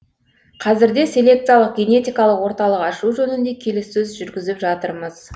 қазірде селекциялық генетикалық орталық ашу жөнінде келіссөз жүргізіп жатырмыз